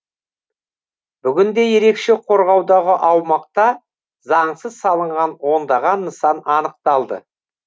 бүгінде ерекше қорғаудағы аумақта заңсыз салынған ондаған нысан анықталды